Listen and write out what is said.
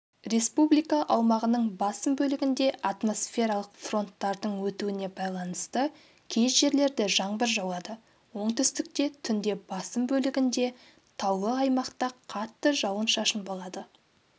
республика аумағының басым бөлігінде атмосфералық фронттардың өтуіне байланысты кей жерлерде жаңбыр жауады оңтүстікте түнде басым бөлігінде таулы аймақта қатты жауын-шашын болады